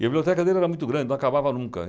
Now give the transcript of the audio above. E a biblioteca dele era muito grande, não acabava nunca.